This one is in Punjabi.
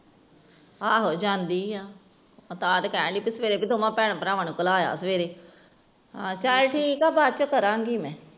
ਆ ਹੋ ਜਾਂਦੀ ਆ ਤਹਾਂ ਹੀ ਤੇ ਕਹਿਣ ਡਈ ਸਵੇਰੇ ਤੇ ਦੋਨੋਂ ਭੈਣ ਭਰਾਵਾਂ ਨੂੰ ਕਲਾਆ ਸਵੇਰੇ ਚਲ ਠੀਕ ਆ ਬਾਅਦ ਵਿਚ ਕਰਾਂਗੀ ਮੈਂ